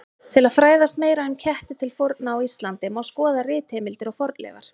Til að fræðast meira um ketti til forna á Íslandi má skoða ritheimildir og fornleifar.